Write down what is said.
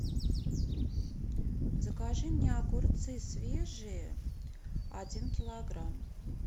закажи мне огурцы свежие один килограмм